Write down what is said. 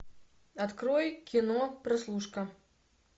открой кино прослушка